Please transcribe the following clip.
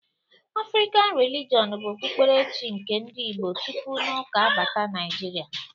Afrịkan Relijọn bụ Okpukpere chi nke ndị Igbo tupu n'Ụka abata Naịjirịa